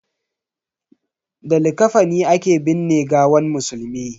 Da likafani ake binne gawan musulmi.